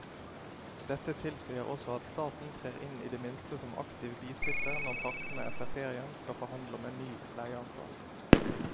Dette tilsier også at staten trer inn i det minste som aktiv bisitter når partene etter ferien skal forhandle om en ny leieavtale.